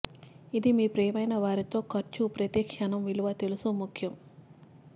ఇది మీ ప్రియమైన వారిని తో ఖర్చు ప్రతి క్షణం విలువ తెలుసు ముఖ్యం